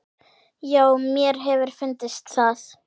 Já, mér hefur fundist það.